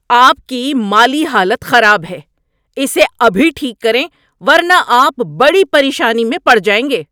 آپ کی مالی حالت خراب ہے! اسے ابھی ٹھیک کریں ورنہ آپ بڑی پریشانی میں پڑ جائیں گے۔